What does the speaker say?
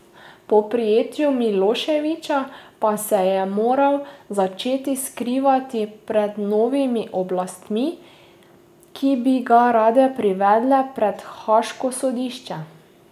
Po prijetju Miloševića pa se je moral začeti skrivati pred novimi oblastmi, ki bi ga rade privedle pred haaško sodišče.